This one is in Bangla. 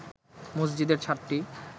মসজিদের ছাদটি